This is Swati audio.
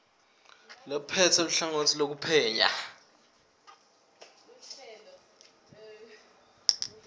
lophetse luhlangotsi loluphenya